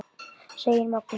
segir Magnús.